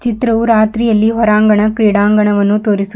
ಚಿತ್ರವು ರಾತ್ರಿಯಲ್ಲಿ ಹೊರಾಂಗಣ ಕ್ರೀಡಾಂಗಣವನ್ನು ತೋರಿಸು--